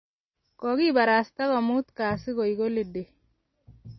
kokibarasta komut kasit koek holidei.